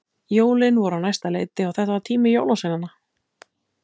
Jólin voru á næsta leiti og þetta var tími jólasveinanna.